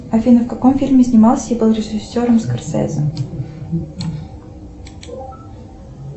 афина в каком фильме снимался и был режиссером скорсезе